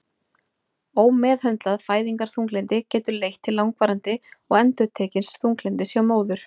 Ómeðhöndlað fæðingarþunglyndi getur leitt til langvarandi og endurtekins þunglyndis hjá móður.